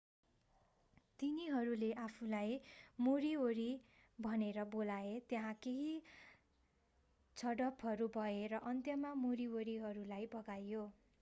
तिनीहरूले आफूलाई मोरीओरी भनेर बोलाए त्यहाँ केही झडपहरू भए र अन्त्यमा मोरीओरीहरूलाई भगाइयो